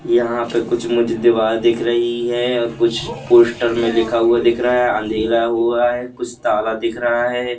यहां पे कुछ मुझे दीवार दिख रही है और कुछ पोस्ट में लिखा हुआ दिख रहा है अंधेरा हुआ है कुछ ताला दिख रहा है।